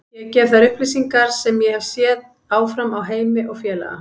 Ég gef þær upplýsingar sem ég hef séð áfram á Heimi og félaga.